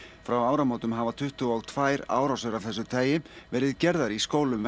frá áramótum hafa tuttugu og tvær árásir af þessu tagi verið gerðar í skólum í